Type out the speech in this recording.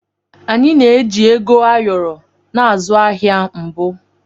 Anyị na-eji Ego ayoro na-azụ ahịa mbụ.